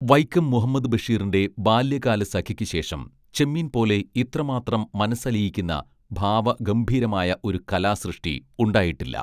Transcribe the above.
വൈക്കം മുഹമ്മദ് ബഷീറിന്റെ ബാല്യകാലസഖിക്കുശേഷം ചെമ്മീൻ പോലെ ഇത്രമാത്രം മനസ്സലിയിക്കുന്ന ഭാവഗംഭീരമായ ഒരു കലാസൃഷ്ടി ഉണ്ടായിട്ടില്ല